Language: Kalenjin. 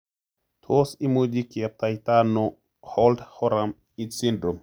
Tos imuchi kiyaptaita ano holt oram syndrome?